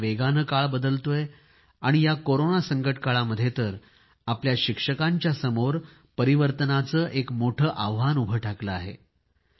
अतिशय वेगाने काळ बदलतोय आणि या कोरोना संकट काळामध्ये तर आपल्या शिक्षकांच्या समोर परिवर्तनाचे एक मोठे आव्हान उभे ठाकले आहे